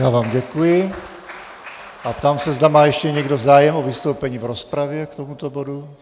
Já vám děkuji a ptám se, zda má ještě někdo zájem o vystoupení v rozpravě k tomuto bodu.